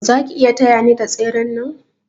Zaki iya taya ni da tseren nan?